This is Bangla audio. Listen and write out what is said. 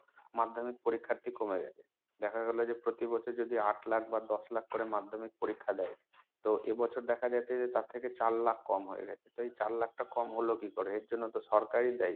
madhyamik পরীক্ষার্থী কমে গেছে। দেখা গেল যে প্রতি বছর যদি আট লাখ বা দশ লাখ করে madhyamik পরীক্ষা দেয়, তো এ বছর দেখা গেছে যে তার থেকে চার লাখ কম হয়ে গেছে। এই চার লাখ টা কম হলো কি করে এর জন্য তো সরকার ই দায়ী।